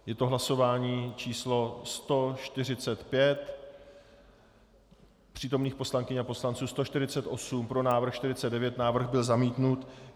Je to hlasování číslo 145, přítomných poslankyň a poslanců 148, pro návrh 49, návrh byl zamítnut.